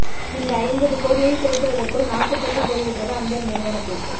இந்த ஐம்பது கோடியை புரட்டுவதற்குள் நாக்கு தள்ளிப் போய்விட்டது அந்த நிறுவனத்திற்கு